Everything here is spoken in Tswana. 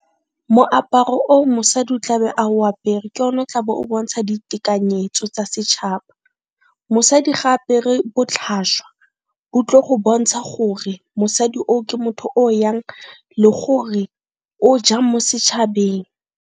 Moaparo o mosadi o tlabe ao apere ke o na o tlabe o bontsha ditekanyetso tsa setšhaba. Mosadi ga apere botlhaswa o tlo go bontsha gore mosadi o ke motho o jang le gore o jang mo setšhabeng.